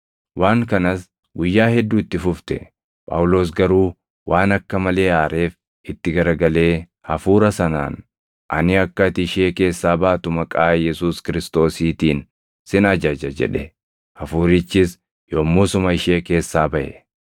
Waan kanas guyyaa hedduu itti fufte; Phaawulos garuu waan akka malee aareef itti garagalee hafuura sanaan, “Ani akka ati ishee keessaa baatu maqaa Yesuus Kiristoosiitiin sin ajaja” jedhe; hafuurichis yommusuma ishee keessaa baʼe.